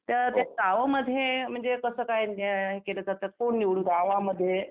तर त्या गावामध्ये म्हणजे कसं काय म्हणजे केलं जातं.